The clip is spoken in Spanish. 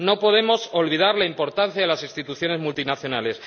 no podemos olvidar la importancia de las instituciones multinacionales.